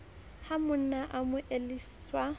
ha monna a mo elelliswa